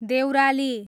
Deurali